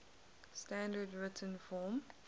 standard written form